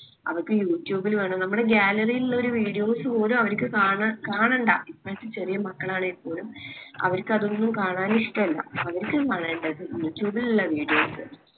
അവർക്ക് യുട്യൂബില് വേണം നമ്മളെ gallery യിലില്ല ഒരു videos പോലു അവർക്ക് കാണാ കാണണ്ട ചെറിയ മക്കളാണേൽ പോലും അവർക്ക് അതൊന്നും കാണാൻ ഇഷ്‌ട്ടല്ല അവർക്ക് യുട്യൂബിലിള്ള videos